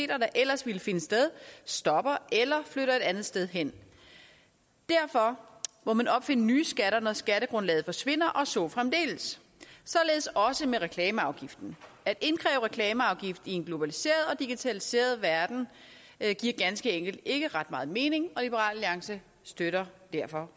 der ellers ville finde sted stopper eller flytter et andet sted hen derfor må man opfinde nye skatter når skattegrundlaget forsvinder og så fremdeles således også med reklameafgiften at indkræve reklameafgift i en globaliseret og digitaliseret verden giver ganske enkelt ikke ret meget mening og liberal alliance støtter derfor